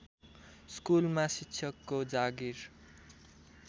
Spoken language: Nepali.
स्कुलमा शिक्षकको जागिर